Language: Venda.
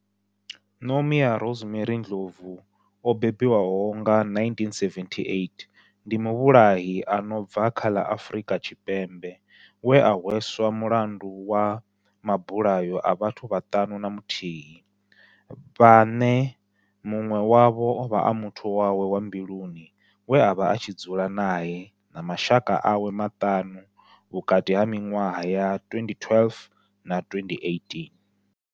Nomia Rosemary Ndlovu o bebiwaho nga, 1978, ndi muvhulahi a no bva kha ḽa Afrika Tshipembe we a hweswa mulandu wa mabulayo a vhathu vhaṱanu na muthihi vhane munwe wavho ovha a muthu wawe wa mbiluni we avha a tshi dzula nae na mashaka awe maṱanu, vhukati ha minwaha ya 2012 na 2018.